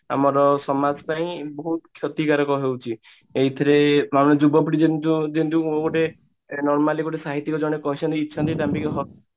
ଆମର ସମାଜ ପାଇଁ ବହୁତ କ୍ଷତିକାରକ ହଉଛି ଆମ ଯୁବପିଢି ଯେମତି ଯେମତି ଗୋଟେ normally ଗୋଟେ ସାହିତ୍ଯିକ ଜଣେ କହିଛନ୍ତି